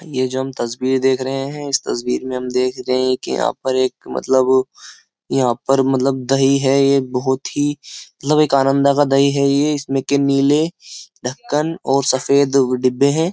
यह जो हम तस्वीर देख रहे हैं इस तस्वीर में हम देख रहे हैं कि यहाँ पर एक मतलब यहाँ पर मतलब दही है ये बहुत ही मतलब एक आनंदा का दही है ये इसमें के नीले ढक्कन और सफेद डिब्बे हैं।